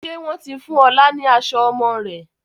Ṣé wọn ti fún ọ̀la ni aṣọ ọmọ rẹ̀?